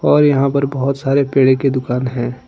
और यहां पर बहुत सारे पेड़े की दुकान है।